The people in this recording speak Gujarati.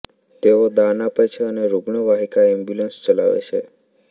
તેઓ દાન આપે છે અને રુગ્ણવાહિકા એમ્બ્યુલન્સ ચલાવે છે